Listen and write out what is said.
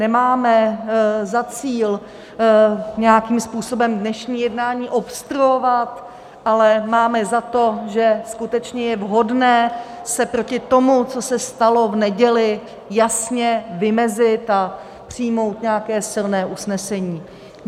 Nemáme za cíl nějakým způsobem dnešní jednání obstruovat, ale máme za to, že skutečně je vhodné se proti tomu, co se stalo v neděli, jasně vymezit a přijmout nějaké silné usnesení.